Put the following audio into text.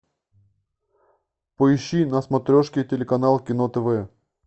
поищи на смотрешке телеканал кино тв